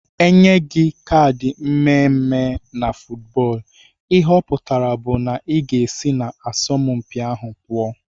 Enye gi kad mmeme na footbọlụ ihe ọputara bu na iga esi na asampi ahu pụọ.